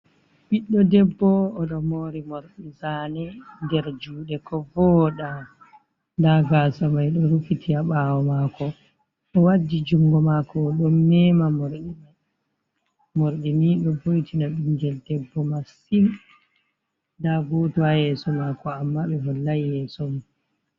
Ɓiddo debbo oɗo mori morɗi zane nder juɗe ko vooɗa. Nda gasa mai do rufiti ha ɓawo mako, owaddi jungo mako oɗon mema. Morɗi ni ɗo vo'itina ɓingel debbo masin nda goto ha yeso mako amma ɓe hollai yeso mai.